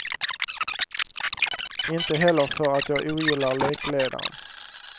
Inte heller för att jag ogillar lekledaren.